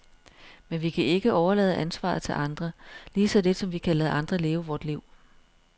Men vi kan ikke overlade ansvaret til andre, lige så lidt som vi kan lade andre leve vort liv.